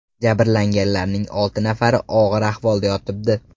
Jabrlanganlarning olti nafari og‘ir ahvolda yotibdi.